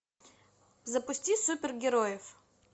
запусти супергероев